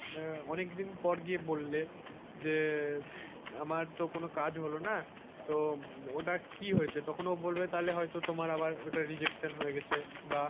আহ অনেকদিন পর গিয়ে বললে যে আমার তো কোন কাজ হলো না তো ওটা কি হয়েছে তখন ও বলবে তাহলে তোমাকে হয়তো আবার rejection হয়ে গেছে।